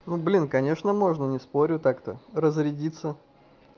ну блин конечно можно не спорю так-то разрядится